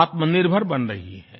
आत्मनिर्भर बन रही है